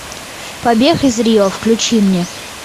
побег из рио включи мне